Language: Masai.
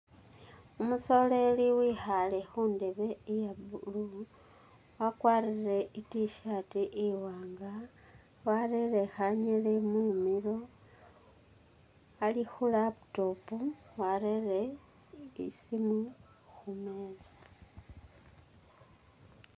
Umusoleli wekhale khundeebe iya' green wakwarile I't-shirt iwanga warere khanyili mumilo Ali khu'laptop warere isimu khumeza